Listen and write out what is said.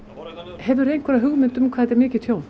hefur þú einhverja hugmynd hvað þetta er mikið tjón